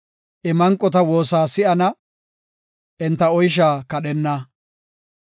I manqota woosa si7ana; enta oysha kadhenna.